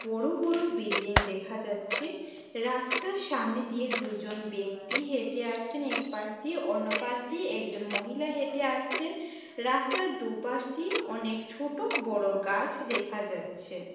বড়ো বড়ো বিল্ডিং দেখা যাচ্ছে রাস্তার সামনে দিয়ে দুজন ব্যক্তি হেঁটে আসছেন একপাশ দিয়ে অন্যপাশ দিয়ে একজন মহিলা হেঁটে আসছেন রাস্তার দুপাশ দিয়ে অনেক ছোট বড়ো গাছ দেখা যাচ্ছে।